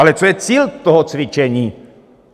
Ale co je cílem toho cvičení?